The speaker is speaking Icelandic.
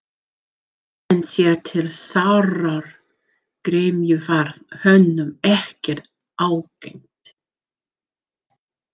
En sér til sárrar gremju varð honum ekkert ágengt.